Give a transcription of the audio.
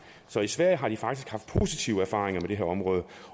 så i sverige har de faktisk haft positive erfaringer med det her område